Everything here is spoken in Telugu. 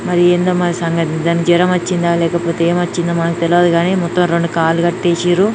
మరి ఏందమ్మా సంగతి. దానికి జరం వచ్చిందా లేక పోతే ఏమొచ్చిందో మనకు తెలవదు గాని--